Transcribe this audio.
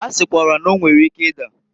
Ha sikwara na- o nwere ike ida.